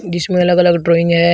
इसमें अलग अलग ड्राइंग है।